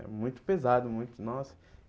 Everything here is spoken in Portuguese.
É muito pesado muito nossa.